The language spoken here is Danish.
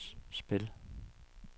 spil